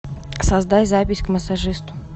создай запись к массажисту